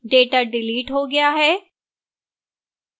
data delete हो गया है